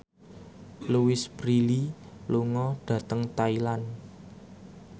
Louise Brealey lunga dhateng Thailand